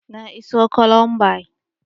Na iso Colombia